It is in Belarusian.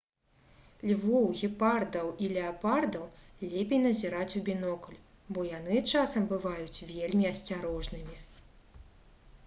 львоў гепардаў і леапардаў лепей назіраць у бінокль бо яны часам бываюць вельмі асцярожнымі